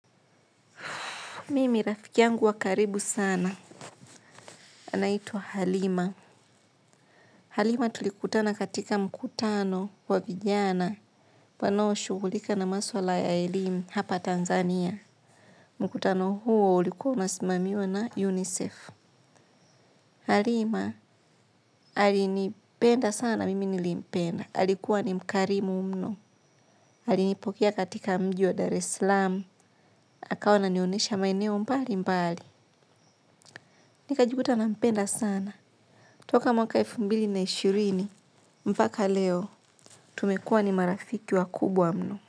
Mimi rafikiangu wakaribu sana. Anaituwa Halima. Halima tulikutana katika mkutano wa vijana. Wanaoshghulika na maswala ya elimu hapa Tanzania. Mkutano huo ulikuwa umesimamiwa na UNICEF. Halima alinipenda sana mimi nilimpenda. Alikuwa ni mkarimu mno. Alinipokiea katika mji wa Dar es salaam. Akawa ananionyesha maeneo mbali mbali. Nikajikuta na mpenda sana. Tuka mwaka elfu mbili na ishirini, mpaka leo, tumekua ni marafiki wa kubwa mno.